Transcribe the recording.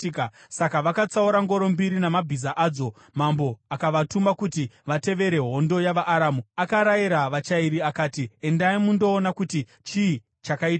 Saka vakatsaura ngoro mbiri namabhiza adzo, mambo akavatuma kuti vatevere hondo yavaAramu. Akarayira vachairi akati, “Endai mundoona kuti chii chakaitika.”